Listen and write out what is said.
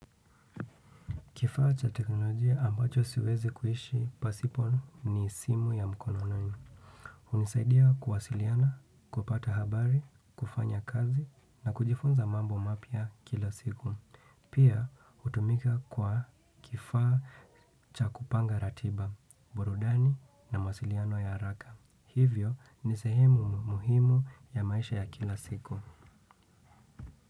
Kifaa cha teknolojia ambacho siwezi kuhishi pasipo ni simu ya mkono nanyo. Unisaidia kuwasiliana, kupata habari, kufanya kazi na kujifunza mambo mapya kila siku. Pia hutumika kwa kifaa cha kupanga ratiba, burudani na mawasiliano ya araka. Hivyo ni sehemu muhimu ya maisha ya kila siku.